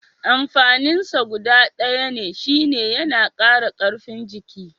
Amfanin sa guda ɗaya ne shine yana kara karfin jiki.